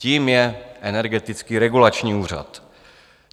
Tím je Energetický regulační úřad.